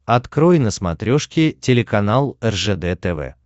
открой на смотрешке телеканал ржд тв